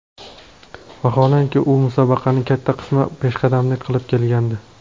Vaholanki, u musobaqaning katta qismida peshqadamlik qilib kelgandi.